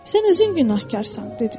Sən özün günahkarsan, dedi.